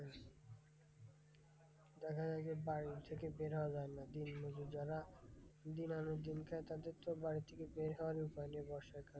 দেখা যায় যে বাড়ি থেকে বের হওয়া যায় না, দিনমজুর যারা দিন আনে দিন খায় তাদের তো বাড়ি থেকে বের হওয়ার উপায় নেই বর্ষাকাল।